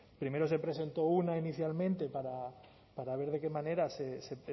primero se presentó una inicialmente para para ver de qué manera se